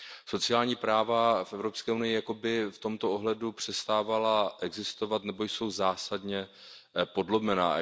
Sociální práva v Evropské unii jako by v tomto ohledu přestávala existovat nebo jsou zásadně podlomena.